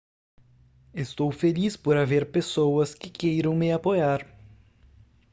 estou feliz por haver pessoas que queiram me apoiar